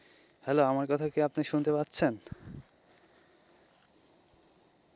hello আমার কথা কি আপনি শুনতে পাচ্ছেন?